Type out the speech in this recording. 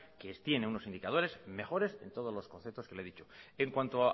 que tienen unos indicadores mejores en todos los conceptos que le he dicho en cuanto